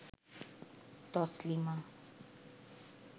Taslima